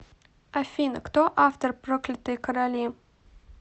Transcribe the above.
афина кто автор проклятые короли